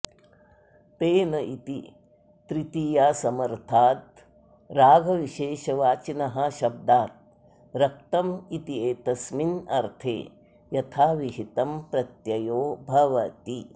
तेन इति तृतीयासमर्थाद् रागविशेषवाचिनः शब्दाद् रक्तम् इत्येतस्मिन्नर्थे यथाविहितम् प्रत्ययो भवति